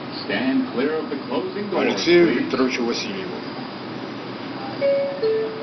алексею викторовичу васильеву